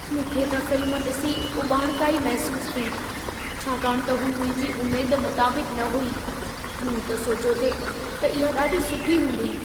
मूंखे त फ़िल्म ॾिसी उॿाणिकाई महसूसु थी, छाकाणि त हू मुंहिंजी उमेद मुताबिक़ न हुई। मूं त सोचियो थे त इहा ॾाढी सुठी हूंदी।